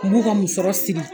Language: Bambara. N b'u ka musɔrɔ sigi.